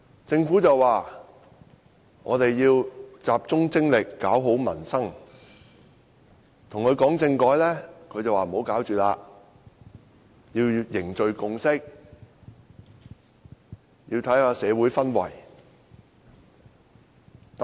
政府說要集中精力搞好民生，我們與政府談政改時，政府說暫不處理，要凝聚共識，觀察社會氛圍。